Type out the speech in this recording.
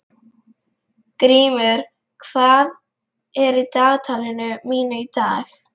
Grímur, hvað er í dagatalinu mínu í dag?